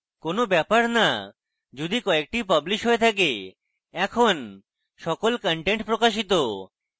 কোন matter now যদি কয়েকটি published হয়ে থাকে এখন সকল content প্রকাশিত